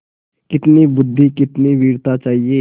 कितनी बुद्वि कितनी वीरता चाहिए